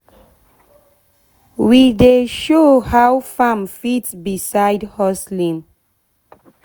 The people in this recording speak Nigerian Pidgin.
we dey show how farm fit be side hustling